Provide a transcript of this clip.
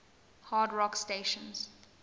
hard rock stations